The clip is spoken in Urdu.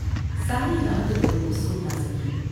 ساری رات دونوں سو نہ سکیں ۔